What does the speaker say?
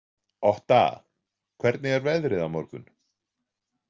Otta, hvernig er veðrið á morgun?